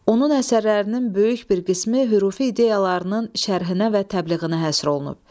Onun əsərlərinin böyük bir qismi hürfi ideyalarının şərhinə və təbliğinə həsr olunub.